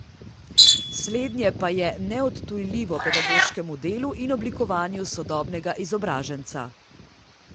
Slednje pa je neodtujljivo pedagoškemu delu in oblikovanju sodobnega izobraženca.